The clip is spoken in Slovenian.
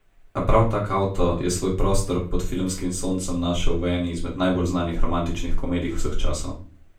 A prav tak avto je svoj prostor pod filmskim soncem našel v eni izmed najbolj znanih romantičnih komedij vseh časov.